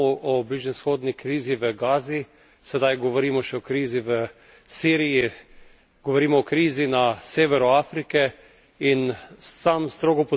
Desetletje nazaj smo govorili samo o bližnjevzhodni krizi v Gazi, sedaj govorimo še o krizi v Siriji, govorimo o krizi na severu Afrike.